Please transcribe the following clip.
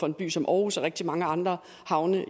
en by som aarhus og rigtig mange andre havne